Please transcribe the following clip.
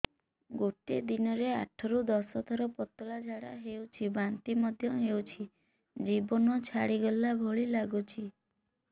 ଗୋଟେ ଦିନରେ ଆଠ ରୁ ଦଶ ଥର ପତଳା ଝାଡା ହେଉଛି ବାନ୍ତି ମଧ୍ୟ ହେଉଛି ଜୀବନ ଛାଡିଗଲା ଭଳି ଲଗୁଛି